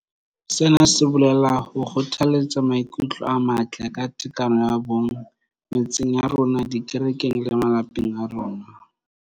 Sena se bolela ho kgothaletsa maikutlo a matle ka tekano ya bong metseng ya rona, dikerekeng le malapeng a rona.